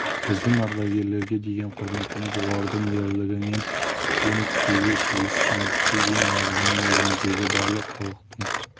біздің ардагерлерге деген құрметіміз олардың ұлы ерлігінен кем түспеуге тиіс жеңіске ең алдымен еліміздегі барлық халықтың